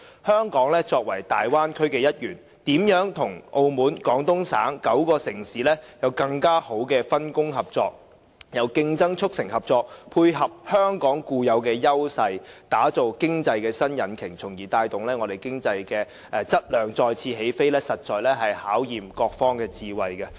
香港作為大灣區的一員，如何和澳門、廣東省9個城市有更好的分工合作。由競爭促成合作，配合香港固有的優勢，打造經濟的新引擎，從而帶動香港的經濟質量再次起飛，實在考驗各方的智慧。